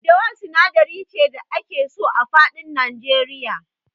Daddawa sinadari ce da ake so a faɗin Nigeria.